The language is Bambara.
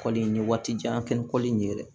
Kɔli n ye waati jan kɛ ni kɔli in ye yɛrɛ